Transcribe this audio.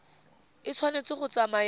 e tshwanetse go tsamaya le